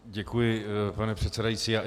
Děkuji, pane předsedající.